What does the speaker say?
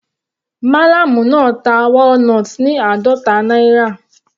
Mallam náà ta walnut ní àádọta náírà.